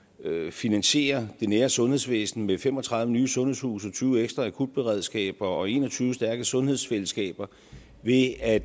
finansiere det nære sundhedsvæsen med fem og tredive nye sundhedshuse tyve ekstra akutberedskaber og en og tyve stærke sundhedsfællesskaber ved at